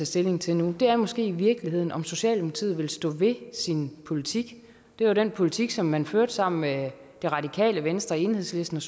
stilling til nu er måske i virkeligheden om socialdemokratiet vil stå ved sin politik det var den politik som man førte sammen med det radikale venstre enhedslisten